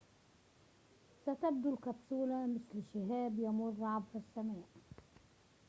ستبدو الكبسولة مثل شهاب يمر عبر السماء